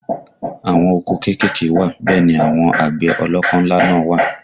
Àwọn oko kéékèèké wà bẹ́ẹ̀ ni àwọn àgbẹ̀ ọlọ́kọ́ ńlá náà wà